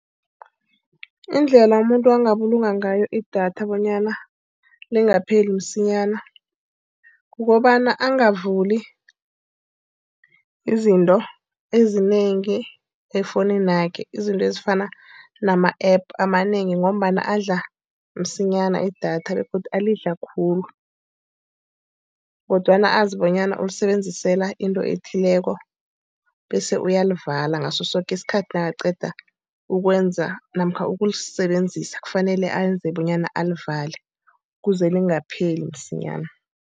Indlela umuntu angabulunga ngayo idatha bonyana lingapheli msinyana kukobana angavuli izinto ezinengi efowuninakhe. Izinto ezifana nama-app amanengi, ngombana adla msinyana idatha begodu alidla khulu. Kodwana azi bonyana ulisebenzisela into ethileko bese uyalivala ngaso soke isikhathi nakaqeda ukwenza namkha ukulisebenzisa. Kufanele enze bonyana alivale. Kuze lingapheli msinyana.